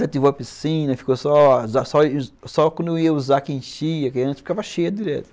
Aí ativou a piscina, ficou só só quando eu ia usar que enchia, porque antes ficava cheia direto.